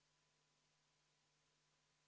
Ta ei lähtunud mitte komisjonis ettevalmistatud materjalidest!